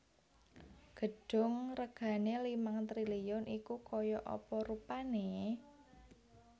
Gedung regane limang triliun iku koyok apa rupane?